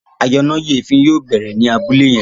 ayọnáyèéfín yóò bẹrẹ ní Abúlé yén